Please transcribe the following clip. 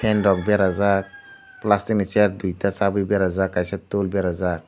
fan rok berajak plastic ni chair duita chabi berajak kaisa tool berajak.